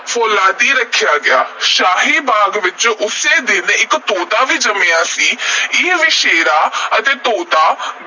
ਫ਼ੌਲਾਦੀ ਰੱਖਿਆ ਗਿਆ। ਸ਼ਾਹੀ ਬਾਗ਼ ਵਿਚ ਉਸੇ ਦਿਨ ਇਕ ਤੋਤਾ ਵੀ ਜੰਮਿਆ ਸੀ। ਇਹ ਵਛੇਰਾ ਅਤੇ ਤੋਤਾ